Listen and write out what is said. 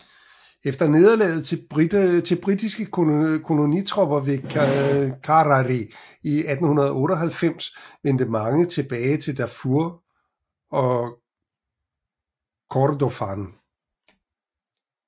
Efter nederlaget til britiske kolonitropper ved Karari i 1898 vendte mange tilbage til Darfur og Kordofan